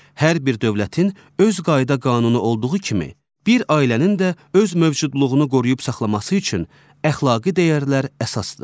Hər bir dövlətin öz qayda-qanunu olduğu kimi, bir ailənin də öz mövcudluğunu qoruyub saxlaması üçün əxlaqi dəyərlər əsasdır.